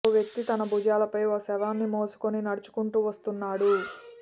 ఓ వ్యక్తి తన భుజాలపై ఓ శవాన్ని మోసుకొని నడుచుకుంటూ వస్తున్నాడు